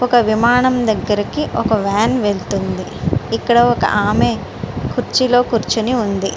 ఒక విమానం దగ్గరికి ఒక వ్యాన్ వెళుతుంది. ఇక్కడ ఒక ఆమె కుర్చీలో కూర్చొని ఉంది.